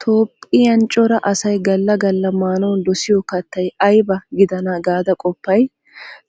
Toophphiyan cora asay galla galla maanawu dosiyo kattay ayba gidana gaada qoppay?